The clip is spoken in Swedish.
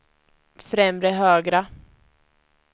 främre högra